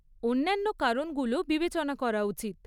অন্যান্য কারণগুলোও বিবেচনা করা উচিত।